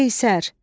Qeysər.